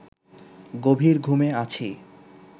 গভীর ঘুমে আছি